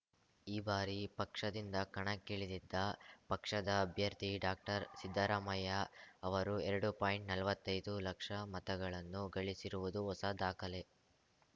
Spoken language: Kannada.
ಈ ಬಾರಿ ಪಕ್ಷದಿಂದ ಕಣಕ್ಕಿಳಿದಿದ್ದ ಪಕ್ಷದ ಅಭ್ಯರ್ಥಿ ಡಾಕ್ಟರ್ಸಿದ್ದರಾಮಯ್ಯ ಅವರು ಎರಡು ಪಾಯಿಂಟ್ನಲ್ವತ್ತೈದು ಲಕ್ಷ ಮತಗಳನ್ನು ಗಳಿಸಿರುವುದು ಹೊಸ ದಾಖಲೆ